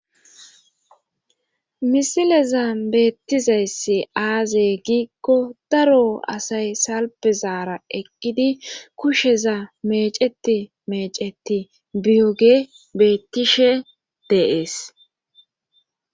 Misileza beettizayssi aazey giikko daro asay salpezaara eqqidi kusheza meceti meceti biyoge beettishe deees